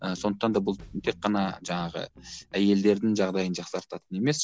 і сондықтан да бұл тек қана жаңағы әйелдердің жағдайын жақсартатын емес